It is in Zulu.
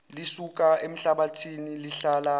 lisuka emhlabathini lihlala